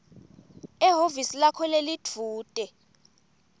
ehhovisi lakho lelidvute